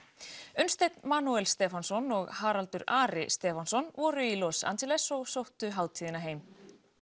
Unnsteinn Stefánsson og Haraldur Ari Stefánsson voru í Los Angeles og sóttu hátíðina heim